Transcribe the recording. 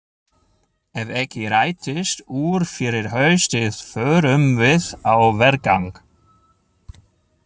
Ef ekki rætist úr fyrir haustið förum við á vergang!